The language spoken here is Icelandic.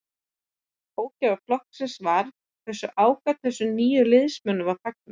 Ógæfa flokksins var hversu ákaft þessum nýju liðsmönnum var fagnað.